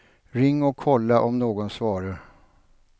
Ring och kolla om någon svarar.